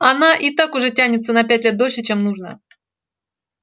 она и так уже тянется на пять лет дольше чем нужно